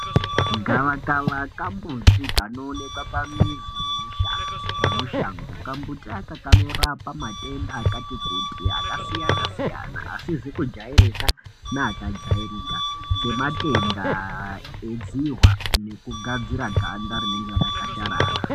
Gava kava kambuti kanoonekwa mushango kambuti aka kanorapa matenda akati kuti matenda akasiyana siyana asizi kujairika neyakajairika kwemene sematenda Edzihwa nekugadzira ganda rinenge rakakasharara.